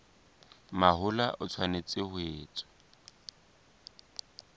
mahola e tshwanetse ho etswa